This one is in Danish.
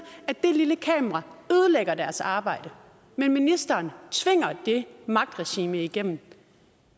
at det lille kamera ødelægger deres arbejde men ministeren tvinger det magtregime igennem